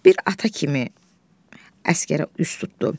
Bir ata kimi əsgərə üz tutdu.